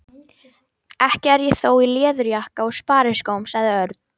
Ekki er ég þó í leðurjakka og spariskóm sagði Örn.